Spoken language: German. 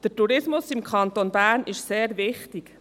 Der Tourismus im Kanton Bern ist sehr wichtig.